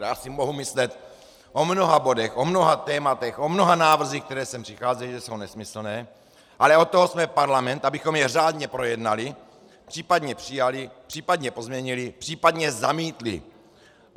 Já si mohu myslet o mnoha bodech, o mnoha tématech, o mnoha návrzích, které sem přicházejí, že jsou nesmyslné, ale od toho jsme parlament, abychom je řádně projednali, případně přijali, případně pozměnili, případně zamítli.